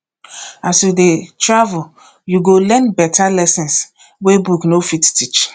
as you dey travel you go learn better lessons wey book no fit teach